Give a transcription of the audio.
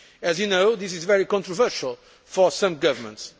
As you know, this is very controversial for some governments.